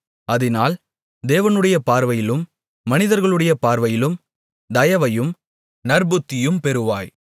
அதினால் தேவனுடைய பார்வையிலும் மனிதர்களுடைய பார்வையிலும் தயவையும் நற்புத்தியும் பெறுவாய்